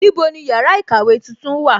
Níbo ni yàrá ìkàwé tuntun wà?